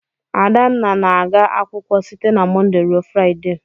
Adanna na-aga akwụkwọ site na Mọnde ruo Fraịde.